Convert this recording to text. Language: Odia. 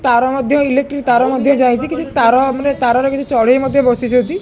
ତାର ମଧ୍ୟ ଇଲେକ୍ଟ୍ରି ତାର ମଧ୍ୟ ଯାଇଚି କିଛି ତାର ମାନେ ତାରର କିଛି ଚଢେଇ ମଧ୍ୟ ବସିଛନ୍ତି।